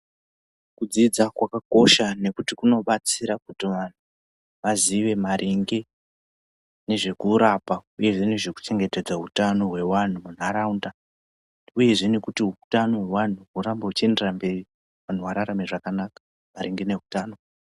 Kudzidza kwakakosha nekuti kunobatsira kuti vanhu vazive maringe nezvekurapa uyezve nezvekuchengetedza hutano hwevanhu munharaunda, uyezve nekuti hutano hwevanhu hurambe huchienderera mberi vanhu vararame zvakanaka maringe nehutano.